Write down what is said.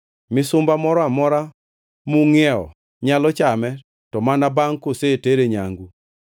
Misumba moro amora mungʼiewo nyalo chame to mana bangʼ kusetere nyangu,